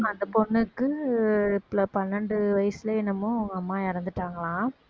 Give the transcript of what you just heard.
அந்த பொண்ணுக்கு பன்னெண்டு வயசுல என்னமோ அவங்க அம்மா இறந்துட்டாங்களாம்